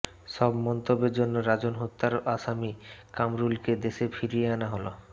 সব মন্তব্যের জন্য রাজন হত্যার আসামি কামরুলকে দেশে ফিরিয়ে আনা হল